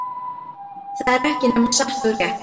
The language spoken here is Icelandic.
Það var ekki nema satt og rétt.